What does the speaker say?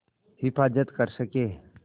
हिफ़ाज़त कर सकें